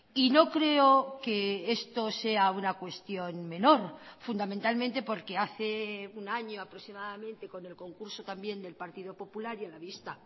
y no creo que esto sea una cuestión menor fundamentalmente porque hace un año aproximadamente con el concurso también del partido popular y a la vista